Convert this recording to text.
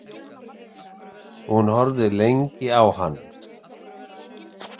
Hún horfði lengi á hann.